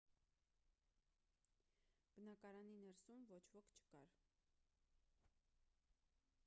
բնակարանի ներսում ոչ ոք չկար